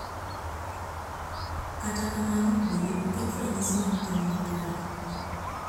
Kata kamano, bende oket ranyisi mag tim makare.